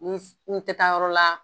Ni n tɛ taa yɔrɔ la